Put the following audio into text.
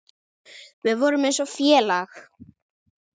Við vorum eins og félag.